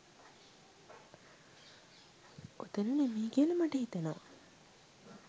ඔතන නෙමෙයි කියලා මට හිතෙනෙවා